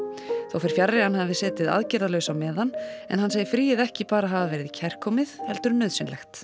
þó fer fjarri að hann hafi setið aðgerðalaus á meðan en hann segir fríið ekki bara hafa verið kærkomið heldur nauðsynlegt